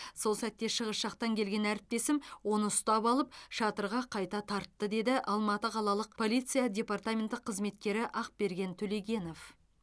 сол сәтте шығыс жақтан келген әріптесім оны ұстап алып шатырға қайта тартты деді алматы қалалық полиция департаменті қызметкері ақберген төлегенов